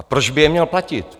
A proč by je měl platit?